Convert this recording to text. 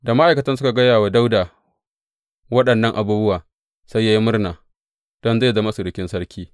Da ma’aikatan suka gaya wa Dawuda waɗannan abubuwa, sai ya yi murna don zai zama surukin sarki.